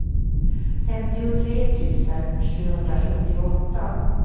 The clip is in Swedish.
femtiotre tusen sjuhundrasjuttioåtta